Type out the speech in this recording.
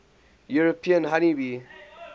european honey bee